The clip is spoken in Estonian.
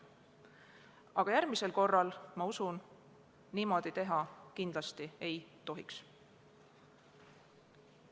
Aga järgmisel korral, ma usun, niimoodi kindlasti teha ei tohiks.